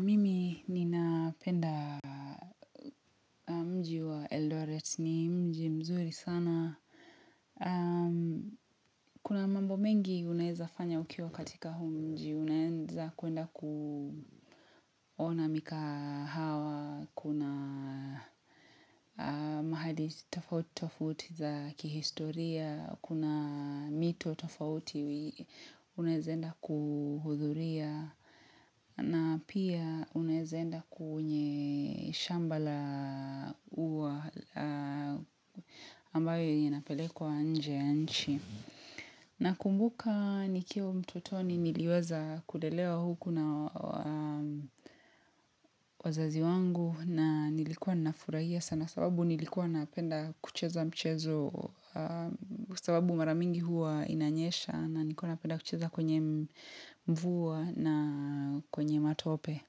Mimi nina penda mji wa Eldoret ni mji mzuri sana. Kuna mambo mengi unaeza fanya ukiwa katika huu mji. Unaenza kuenda kuona mika hawa. Kuna mahali tofauti tofauti za kihistoria. Kuna mito tofauti unaeza enda kuhudhuria. Na pia unaeza enda kuunye shambala ua ambayo inapelekwa nje ya nchi. Na kumbuka nikio mtotoni niliweza kulelewa huku na wazazi wangu na nilikuwa nafurahia sana. Sababu nilikuwa napenda kucheza mchezo sababu maramingi huwa inanyesha na nilikuwa napenda kucheza kwenye mvua na kwenye matope.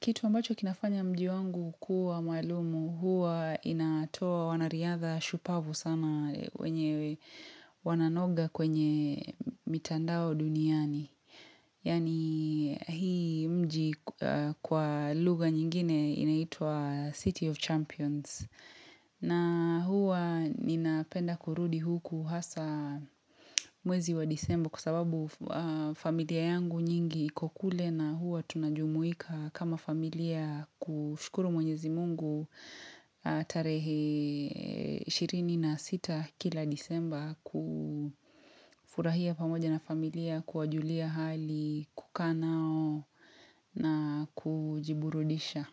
Kitu ambacho kinafanya mji wangu kuwa maalumu huwa inatoa wanariadha shupavu sana wenye wananoga kwenye mitandao duniani. Yani hii mji kwa lugha nyingine inaitwa City of Champions. Na huwa ninapenda kurudi huku hasa mwezi wa disemba kwa sababu familia yangu nyingi iko kule na huwa tunajumuika kama familia kushukuru mwenyezi Mungu tarehe 26 kila disemba kufurahia pamoja na familia kuwajulia hali kukanao na kujiburudisha.